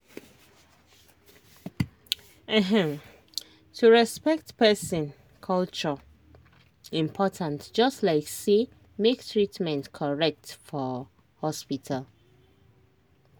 ehm to respect person culture important just like say make treatment correct for hospital.